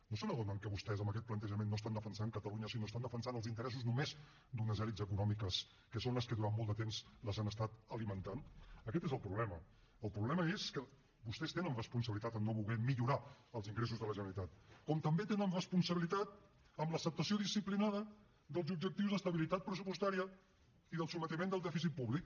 no se n’adonen que vostès amb aquest plantejament no estan defensant catalunya sinó que estan defensant els interessos només d’unes elits econòmiques que són les que durant molt de temps les han estat alimentant aquest és el problema el problema és que vostès tenen responsabilitat a no voler millorar els ingressos de la generalitat com també tenen responsabilitat en l’acceptació disciplinada dels objectius d’estabilitat pressupostària i del sotmetiment del dèficit públic